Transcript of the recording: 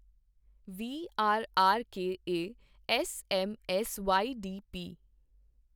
ਵੀ R R K ਐੱ S M S Y D ਪੀ